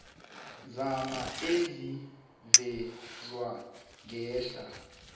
zami ezivezwe ngehla